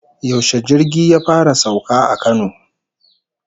Yaushe jirgi ya fara sauka a Kano?